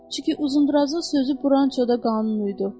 Çünki Uzundrazın sözü burançoda qanunu idi.